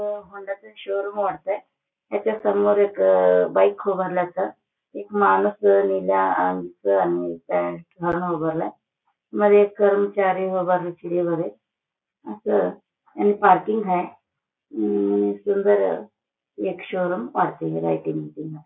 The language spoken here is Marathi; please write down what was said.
हे होंडाचं शोरूम वाटतंय त्याच्या समोर एक बाइक उभारल्याच एक माणूस नेला घालून उभारलाय मध्ये एक कर्मचारी अस आणि पार्किंग हाय अ सुंदर एक शोरूम वाटतय --